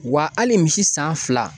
Wa hali misi san fila